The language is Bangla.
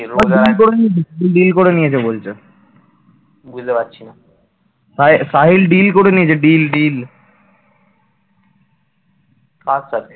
কার সাথে?